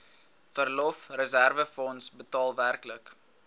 verlofreserwefonds totaal werklik